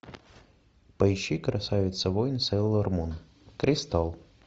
поищи красавица воин сейлор мун кристалл